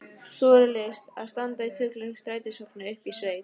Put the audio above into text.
Súrrealískt að standa í fullum strætisvagni uppi í sveit!